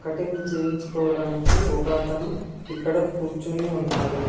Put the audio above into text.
Cutting చేయించుకోవడానికి ఒక అతను ఇక్కడ కూర్చొని ఉన్నాడు.